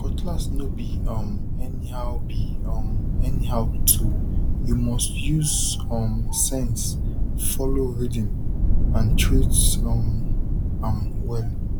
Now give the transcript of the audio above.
cutlass no be um anyhow be um anyhow toolyou must use um sense follow rhythm and treat um am well